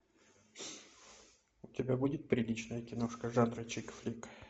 у тебя будет приличная киношка жанра чикфлик